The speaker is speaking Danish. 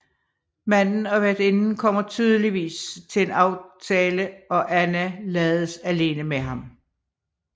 Manden og værtinden kommer tydeligvis til en aftale og Anna lades alene med ham